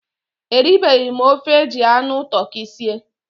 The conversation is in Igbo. Eribeghi m ofe eji anụ tụrkị sie